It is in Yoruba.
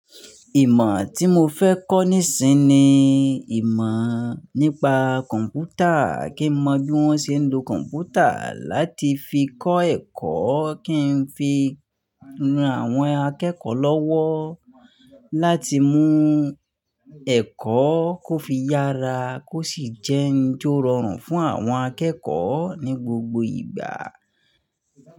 Ìmọ̀ tí mo fẹ́ kọ́ nísìn ni ìmọ̀ nípa kọ̀m̀pútà kí n mọ bí wọ́n ṣe ń lo kọ̀m̀pútà láti fi kọ́ ẹ̀kọ́, kí n fi ran àwọn akẹ́kọ̀ọ́ lọ́wọ́ láti mú ẹ̀kọ́ kó fi yára kó ṣì jẹ́ ohun tó rọrùn fún àwọn akẹ́kọ̀ọ́ ní gbogbo ìgbà.